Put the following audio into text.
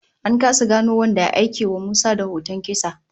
An kasa gano wanda ya aikewa Musa da hoton kisa